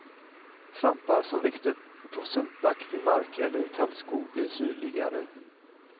Svampar som växt upp på sumpaktig mark eller i tallskog blir syrligare.